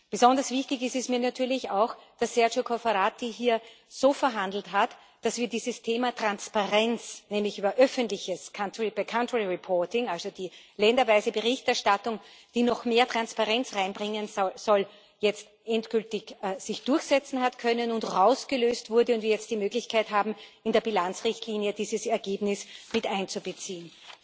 Besonders wichtig ist es mir natürlich auch, dass Sergio Cofferati hier so verhandelt hat, dass dieses Thema Transparenz, nämlich über öffentliches country by country Reporting also die länderweise Berichterstattung, die noch mehr Transparenz reinbringen soll sich endgültig hat durchsetzen können und rausgelöst wurde und wir jetzt die Möglichkeit haben, in der Bilanzrichtlinie dieses Ergebnis mit einzubeziehen.